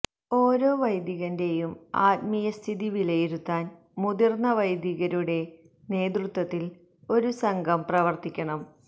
ഓരോ വൈദീകന്റെയും ആത്മീയസ്ഥിതി വിലയിരുത്താന് മുതിര്ന്ന വൈദീകരുടെ നേതൃത്വത്തില് ഒരു സംഘം പ്രവര്ത്തിക്കണം